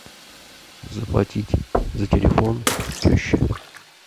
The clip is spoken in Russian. заплатить за телефон тещи